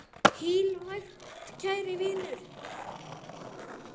Hvíl vært, kæri vinur.